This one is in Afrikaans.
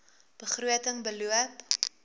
begroting beloop